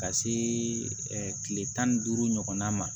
Ka se kile tan ni duuru ɲɔgɔnna ma